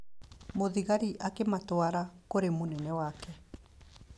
Mũthigari akĩmatwara kũrĩ mũnene wake.